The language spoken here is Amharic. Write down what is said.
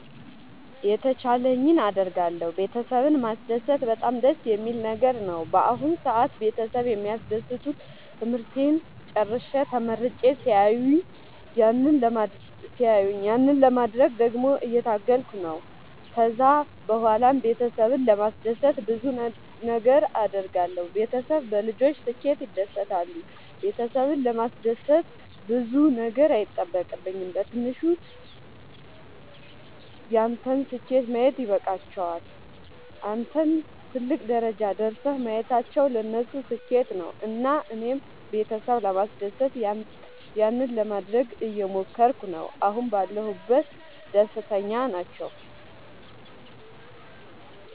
የተቻለኝን አደርጋለሁ ቤተሰብን ማስደሰት በጣም ደስ የሚል ነገር ነው። በአሁን ሰአት ቤተሰብ የሚደሰቱት ትምህርቴን ጨርሼ ተመርቄ ሲያዩኝ ያንን ለማድረግ ደግሞ እየታገልኩ ነው። ከዛ ብኋላም ቤተሰብን ለማስደሰት ብዙ ነገር አድርጋለሁ። ቤተሰብ በልጆች ስኬት ይደሰታሉ ቤተሰብን ለማስደሰት ብዙ ነገር አይጠበቅም በትንሹ ያንተን ስኬት ማየት ይበቃቸዋል። አንተን ትልቅ ደረጃ ደርሰህ ማየታቸው ለነሱ ስኬት ነው። እና እኔም ቤተሰብ ለማስደሰት ያንን ለማደረግ እየሞከርኩ ነው አሁን ባለሁበት ደስተኛ ናቸው።